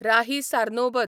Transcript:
Rahi Sarnobat